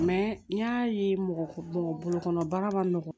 n y'a ye mɔgɔ mɔgɔ bolokɔnɔ baara ma nɔgɔn